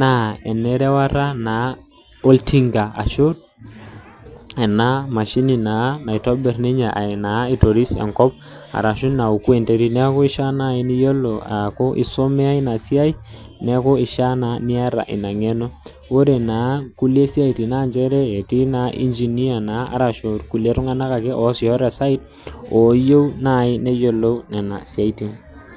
naa enerewata naa oltinga ashu naa mashinini naa naitobir ninye na aitoris enkop ashu naoku enterit niaku eishaa naaji niaku eisomea ina siai niaku ishaa naa niata ina ngeno ore naa kulie siatin naa nchere etii naa engineer ashu rkulie tunganak ake oasisho te site oyieu nasji neyiolou ena siai